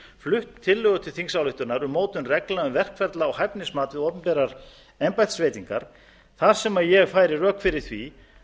flutt tillögu til þingsályktunar um mótun reglna um verkferla og hæfnismat við opinberar embættisveitingar þar sem ég færi rök fyrir því